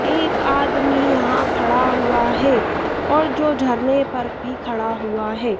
एक आदमी यहां खड़ा हुआ है और जो झरने पर भी खड़ा हुआ है।